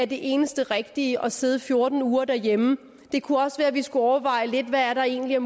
det eneste rigtige at sidde fjorten uger derhjemme det kunne også være vi skulle overveje lidt hvad der egentlig er